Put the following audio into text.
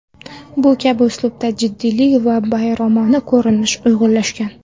Bu kabi uslubda jiddiylik va bayramona ko‘rinish uyg‘unlashgan.